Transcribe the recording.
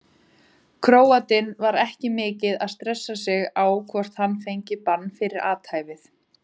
Króatinn var ekki mikið að stressa sig á hvort hann fengi bann fyrir athæfið.